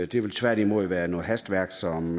det vil tværtimod være noget hastværk som